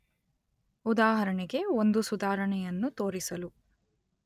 ಉದಾಹರಣೆಗೆ ಒಂದು ಸುಧಾರಣೆಯನ್ನು ತೋರಿಸಲು